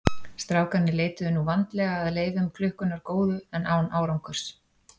Strákarnir leituðu nú vandlega að leifum klukkunnar góðu en án árangurs.